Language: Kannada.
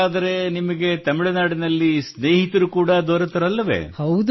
ಹಾಗಾದರೆ ನಿಮಗೆ ತಮಿಳುನಾಡಿನಲ್ಲಿ ಸ್ನೇಹಿತರು ಕೂಡಾ ದೊರೆತರಲ್ಲವೇ